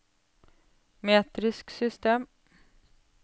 metrisk system